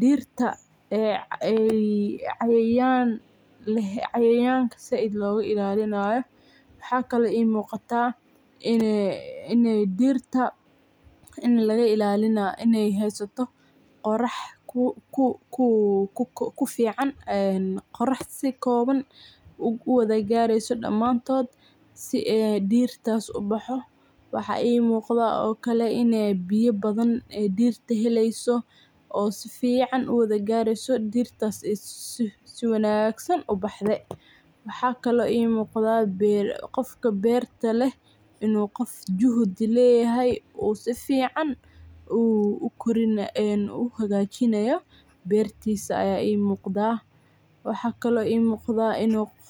dirta cayayanka si aad loga ilalinayo , waxa kale ii muqata ini dirta heysato qorax ku fican iyo si koban u wada gareso damantod ,waxa kale ii muqdan ini biyo badan dirta wada heleso oo si fican u wada gareso oo dirtas ay si wanagsan u baxde , waxa kale muqata inu qofka berta leh inu juhdi leyahay u si fican u hagajinaya bertisa aya ii muqdaa , waxa kale ii muqdaa inu.